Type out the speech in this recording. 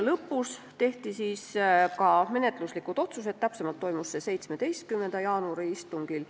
Lõpuks tehti ka menetluslikud otsused, täpsemalt toimus see 17. jaanuari istungil.